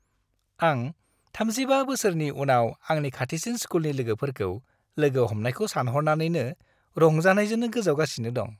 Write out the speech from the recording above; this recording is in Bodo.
आं 35 बोसोरनि उनाव आंनि खाथिसिन स्कुलनि लोगोफोरखौ लोगो हमनायखौ सानह'रनानैनो रंजानायजों गोजावगासिनो दं।